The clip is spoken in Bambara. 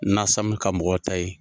Nasamu ka mɔgɔw ta ye.